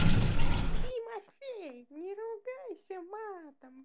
тимофей не ругайся матом